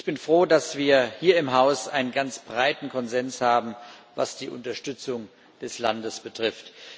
Ich bin froh, dass wir hier im Haus einen ganz breiten Konsens haben, was die Unterstützung des Landes betrifft.